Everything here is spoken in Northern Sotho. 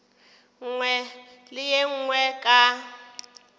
nngwe le ye nngwe ka